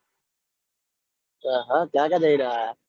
આહ કઈ કઈ જગ્યાય જૈન આયા?